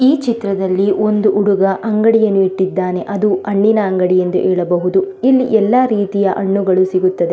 ಈ ಚಿತ್ರದಲ್ಲಿ ಒಂದು ಹುಡುಗ ಒಂದು ಅಂಗಡಿಯನ್ನು ಇಟ್ಟಿದ್ದಾನೆ ಅದು ಹಣ್ಣಿನ ಅಂಗಡಿ ಎಂದು ಹೇಳಬಹುದು ಇಲ್ಲಿ ಎಲ್ಲ ರೀತಿಯ ಹಣ್ಣುಗಳು ಸಿಗುತ್ತದೆ.